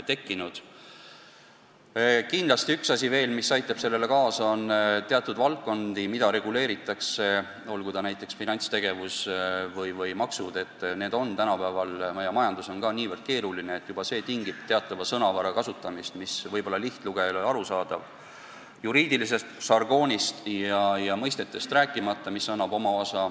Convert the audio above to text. Kindlasti on veel üks asi, mis aitab sellele kaasa: on teatud valdkondi, näiteks finantstegevus või maksud, mis on tänapäeval nagu kogu meie majandus nii keeruline, et juba see tingib teatava sõnavara kasutamist, mis lihtlugejale ei ole arusaadav, juriidilisest žargoonist ja erialastest mõistetest rääkimata.